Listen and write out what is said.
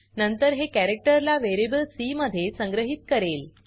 नंतर हे कॅरक्टर ला व्हेरिएबल सी मध्ये संग्रहीत करेल